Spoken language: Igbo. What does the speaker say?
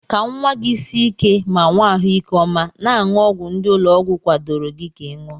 Ka nwa gị sie ike ma nwee ahụike ọma, na-aṅụ ọgwụ ndị ụlọọgwụ kwadoro ka ị ṅụọ.